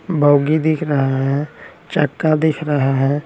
बौगी दिख रहा हैं चक्का दिख रहा हैं।